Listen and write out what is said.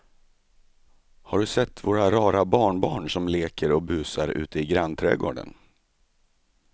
Har du sett våra rara barnbarn som leker och busar ute i grannträdgården!